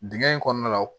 Dingɛ in kɔnɔna la